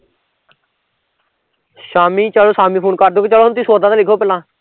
ਸ਼ਾਮੀ ਚੱਲ ਸ਼ਾਮੀ ਫੂਨ ਕਰਦੂ ਚੱਲ ਤੁਸੀਂ ਹੁਣ ਸੌਦਾ ਤੇ ਲਿਖੋ ਪੈਹਲਾ